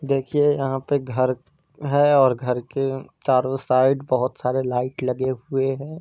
देखिए यहा पे घर है। ओर घर क चारों साइड बहुत सारे लाइट लगे हुऐ है।